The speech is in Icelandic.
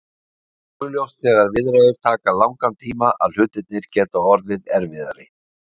Það er augljóst þegar viðræður taka langan tíma að hlutirnir gera orðið erfiðari.